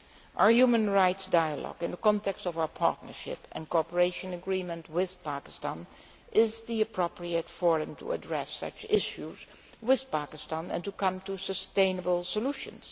Our human rights dialogue, in the context of our Partnership and Cooperation Agreement with Pakistan, is the appropriate forum to address such issues with Pakistan and reach sustainable solutions.